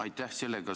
Aitäh!